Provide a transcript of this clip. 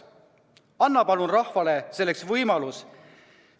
Anna palun rahvale selleks võimalus!